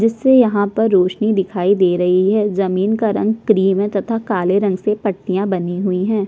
जिससे यहाँ पर रौशनी दिखाई दे रही है जमीन का रंग क्रीम है तथा काले रंग से पट्टियाँ बनी हुई हैं।